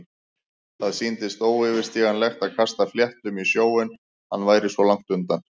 Það sýndist óyfirstíganlegt að kasta fléttum í sjóinn- hann væri svo langt undan.